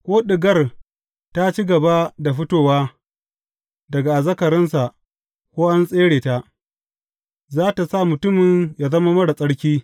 Ko ɗigar ta ci gaba da fitowa daga azzakarinsa ko an tsere ta, za tă sa mutumin yă zama marar tsarki.